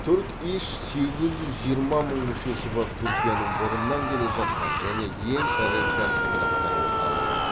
турк иш сегіз жүз жиырма мың мүшесі бар түркияның бұрыннан келе жатқан және ең ірі кәсіподақтар орталығы